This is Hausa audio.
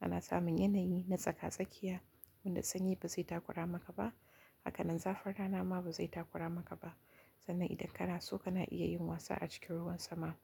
ana samun yanayi na tsaka-tsakiya wanda sanyi ba zai takura maka ba, haka nan zafin rana ma ba zai takura maka ba, sannan idan kana so kana iya yin wasa a cikin ruwan sama.